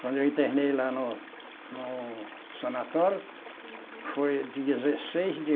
Quando eu internei lá no no sanatório, foi dezesseis de